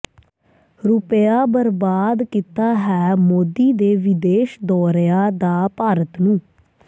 ਰੁਪਿਆ ਬਰਬਾਦ ਕੀਤਾ ਹੈ ਮੋਦੀ ਦੇ ਵਿਦੇਸ਼ ਦੌਰਿਆ ਦਾ ਭਾਰਤ ਨੂੰ